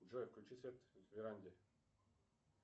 джой включи свет в веранде